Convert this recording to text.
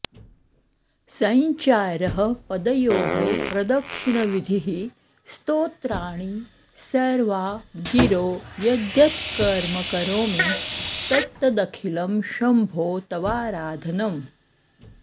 सञ्चारः पदयोः प्रदक्षिणविधिः स्तोत्राणि सर्वा गिरो यद्यत्कर्म करोमि तत्तदखिलं शम्भो तवाराधनम्